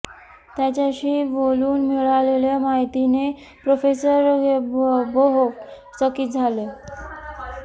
त्याच्याशी बोलून मिळालेल्या माहितीने प्रोफेसर द्यूबोव्ह चकित झाले